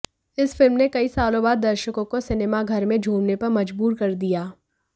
इस फिल्म ने कई सालों बाद दर्शकों को सिनेमाघर में झूमने पर मजबूर कर दिया